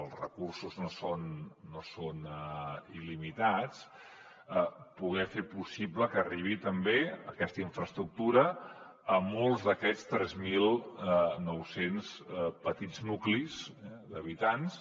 els recursos no són il·limitats poder fer possible que arribi també aquesta infraestructura a molts d’aquests tres mil nou cents petits nuclis d’habitants